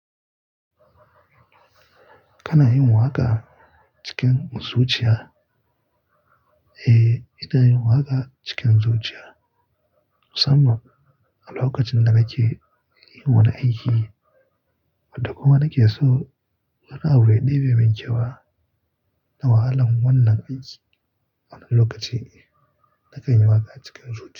Kana yin waka cikin zuciya? Eh, ina yin waka cikin zuciya, musamman a lokacin da nake yin wani aiki wanda kuma nake so wani abu ya ɗebi min kyewa na wahalan wannan aiki. A wani lokaci na kan yi waka cikin zuciya.